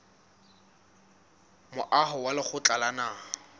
moaho wa lekgotla la naha